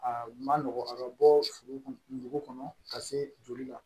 Aa ma nɔgɔn a bɛ bɔ dugu kɔnɔ ka se joli la